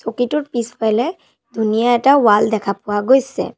টোৰ পিছফালে ধুনীয়া এটা ৱাল দেখা পোৱা গৈছে।